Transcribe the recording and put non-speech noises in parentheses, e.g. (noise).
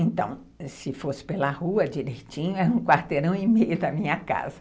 Então, se fosse pela rua, direitinho, era um quarteirão (laughs) e meio da minha casa.